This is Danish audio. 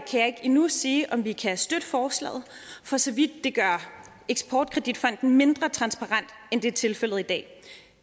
endnu ikke sige om vi kan støtte forslaget for så vidt det gør eksportkreditfonden mindre transparent end det er tilfældet i dag